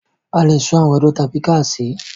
A le sun àgbàdo tàbí kí a sè é.